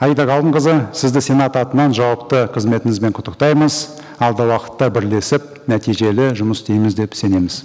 аида ғалымқызы сізді сенат атынан жауапты қызметіңізбен құттықтаймыз алдағы уақытта бірлесіп нәтижелі жұмыс істейміз деп сенеміз